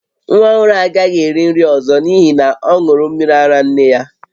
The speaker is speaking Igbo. Nwa ọhụrụ a agaghị eri nri ọzọ n'ihi na ọ ṅụrụ mmiri ara nne ya